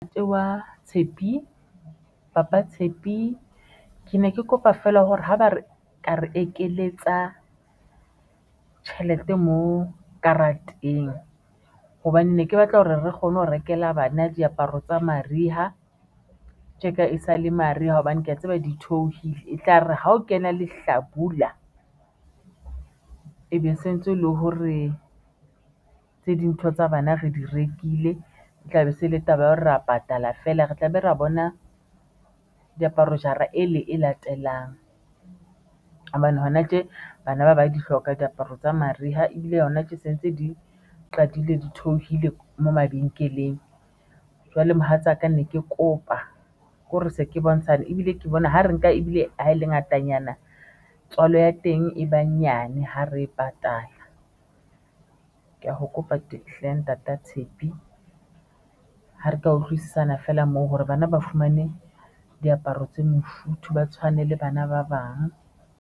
Ntate wa Tshepi, papa Tshepi ke ne ke kopa feela hore ha ba re ka re ekeletsa tjhelete mo karateng hobane ne ke batla hore re kgone ho rekela bana diaparo tsa mariha tjeka e sa le mariha hobane ke ya tseba di theohile etlare ha o kena lehlabula e be sentse e le hore tse dintho tsa bana re di rekile, e tla be se le taba ya hore ra patala feela, re tlabe re ya bona diaparo mme jara e le e latelang hobane hona tje bana ba ba di hloka diaparo tsa mariha ebile yona tje sentse di qadile di theohile mo mabenkeleng. Jwale mohatsaka ne ke kopa hore se ke bontshane ebile ke bona ho re nka ebile ha e le ngatanyana tswalo ya teng e ba nyane ho re e patala, ke ya h o kopa tahleho. Ntata Tshepi ha re ka utlwisisana feela moo hore bana ba fumane diaparo tse mofuthu, ba tshwane le bana ba bang.